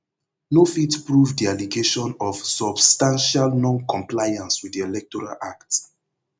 no fit prove di allegation of substantial noncompliance wit di electoral act